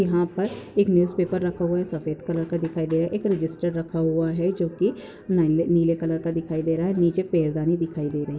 यह पर एक न्यूजपेपर रखा हुआ है सफेद कलर का दिखाई दे रहा है एक रजिस्टर रखा हुआ है जो की नीले कलर का दिखाई दे रहा है निचे पैरदानी दिखाई दे रही--